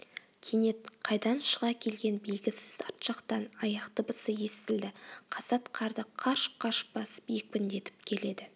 кенет қайдан шыға келген белгісіз арт жақтан аяқ дыбысы естілді қасат қарды қарш-қарш басып екпіндетіп келеді